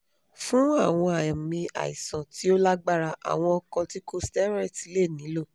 fun awọn aami aisan ti o lagbara awọn corticosteroids le nilo